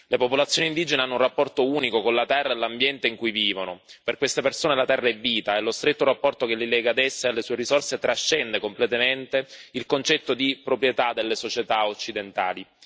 Le popolazioni indigene hanno un rapporto unico con la terra e l'ambiente in cui vivono per queste persone la terra è vita e lo stretto rapporto che li lega ad essa e alle sue risorse trascende completamente il concetto di proprietà delle società occidentali.